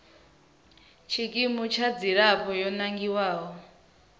tshikimu tsha dzilafho yo nangiwaho